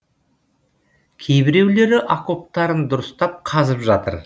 кейбіреулері окоптарын дұрыстап қазып жатыр